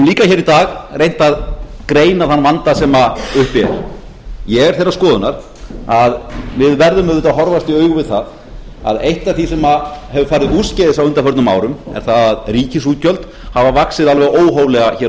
í dag reynt að greina þann vanda sem uppi er ég er þeirrar skoðunar að við verðum auðvitað að horfast í augu við það að eitt af því sem hefur farið úrskeiðis á undanförnum árum er það að ríkisútgjöld hafa vaxið alveg óhóflega hér á